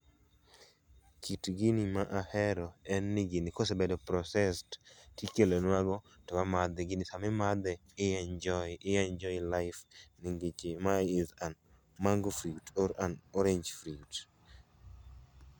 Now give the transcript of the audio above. Kit gini ma ahero en ni gini kosebedo processed ti kelonwa go to wamadhe. Gini sa ma imadhe to i enjoy i enjoy life nikech ma en mango fruit or an orange fruit